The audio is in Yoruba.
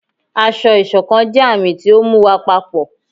ásọ̀-ìsokán jẹ àmì ti ọ mú wá papọ